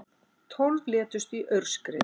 Tólf létust í aurskriðu